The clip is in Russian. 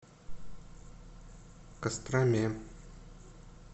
костроме